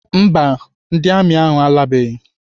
Mba, ndị amị ahụ alabeghị.